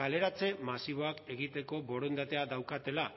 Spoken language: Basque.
kaleratze masiboak egiteko borondatea daukatela